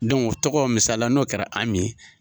o tɔgɔ misala n'o kɛra Ami ye.